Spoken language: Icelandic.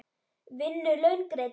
Vinnu laun greidd.